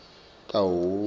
kahhoyi